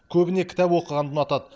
көбіне кітап оқығанды ұнатады